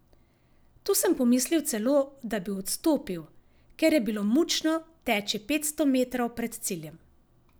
Tu sem pomislil celo, da bi odstopil, ker je bilo mučno teči petsto metrov pred ciljem.